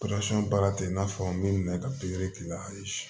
baara tɛ i n'a fɔ n bɛ minɛ ka pikiri k'i la ayi